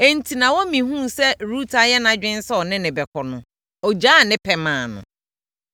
Enti, Naomi hunuu sɛ Rut ayɛ nʼadwene sɛ ɔne no bɛkɔ no, ɔgyaa ne pɛ maa no.